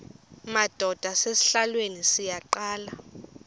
madod asesihialweni sivaqal